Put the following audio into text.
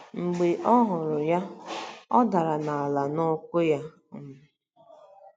Mb͕e ọ huru ya, ọ dara n'ala n'ụ́kwụ́ ya. um